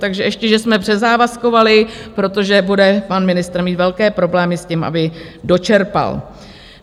Takže ještě že jsme přezávazkovali, protože bude pan ministr mít velké problémy s tím, aby dočerpal.